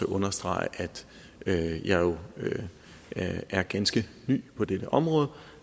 understrege at jeg er ganske ny på dette område